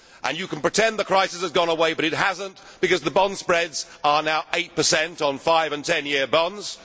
You can pretend the crisis has gone away, but it has not, because the bond spreads are now 8 on five and ten year bonds.